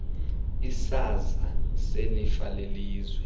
isiza selifa lelizwe